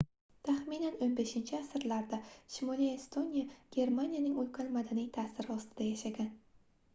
taxminan 15-asrlarda shimoliy estoniya germaniyaning ulkan madaniy taʼsiri ostida yashagan